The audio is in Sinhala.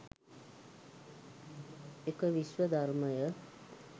එක විශ්ව ධර්මය